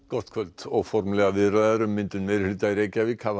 gott kvöld óformlegar viðræður um myndun meirihluta í Reykjavík hafa